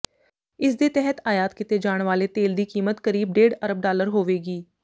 ਇਸ ਦੇ ਤਹਿਤ ਆਯਾਤ ਕੀਤੇ ਜਾਣ ਵਾਲੇ ਤੇਲ ਦੀ ਕੀਮਤ ਕਰੀਬ ਡੇਢ ਅਰਬ ਡਾਲਰ ਹੋਵੇਗੀ